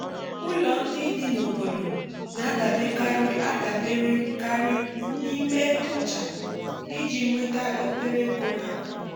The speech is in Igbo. ụlọ ndị dị n’obodo n'a daberekari n'ime nchà iji nweta obere ego n’akụkụ